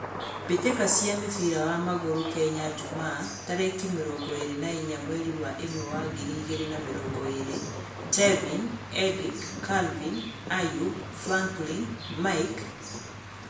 Mbitika cia mũbira wa magũrũ Kenya jumaa, tarekĩ mĩrongoĩĩri na inya, mweri wa ĩmwe wa ngiri igĩrĩ na mĩrongo ĩĩrĩ: Tevin, Erick, Calvin, Ayub, Franklin, Mike